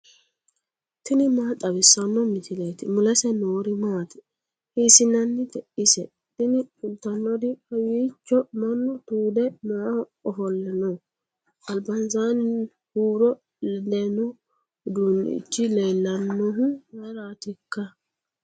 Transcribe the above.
tini maa xawissanno misileeti ? mulese noori maati ? hiissinannite ise ? tini kultannori kawiicho mannu tuude maaaho ofolle no albansaanni huuro ledanno uddunnichi leellannohu mayraatikka